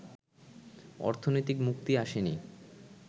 অর্থনৈতিক মুক্তি আসেনি